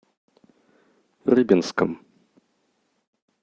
рыбинском